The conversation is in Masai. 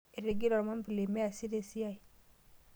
Etigile ormwambuli measita esiai.